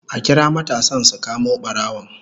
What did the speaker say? A kira matasan su kamo barawon